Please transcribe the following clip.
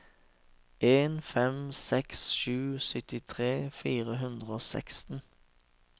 en fem seks sju syttitre fire hundre og seksten